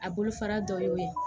A bolo fara dɔ y'o ye